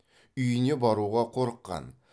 үйіне баруға қорыққан